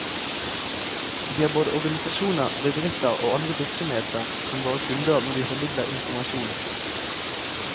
Vi har både organisasjoner, bedrifter og andre virksomheter som våre kunder når vi formidler informasjon.